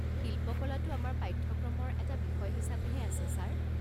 শিল্পকলাটো আমাৰ পাঠ্যক্ৰমৰ এটা বিষয় হিচাপেহে আছে ছাৰ।